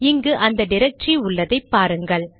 இங்கு அந்த டிரக்டரி உள்ளதை பாருங்கள்